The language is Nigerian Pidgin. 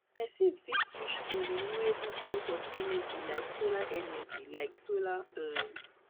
person fit switch to renewable source of energy like solar energy like solar um